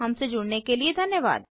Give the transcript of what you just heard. हमसे जुड़ने के लिए धन्यवाद